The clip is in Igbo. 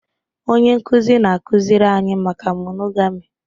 Onye nkụzi na-akụziri anyị maka monogami